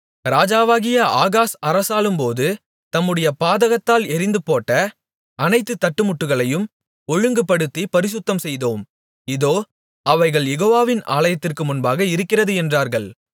ராஜாவாகிய ஆகாஸ் அரசாளும்போது தம்முடைய பாதகத்தால் எறிந்துபோட்ட அனைத்து தட்டுமுட்டுகளையும் ஒழுங்குபடுத்திப் பரிசுத்தம்செய்தோம் இதோ அவைகள் யெகோவாவின் ஆலயத்திற்கு முன்பாக இருக்கிறது என்றார்கள்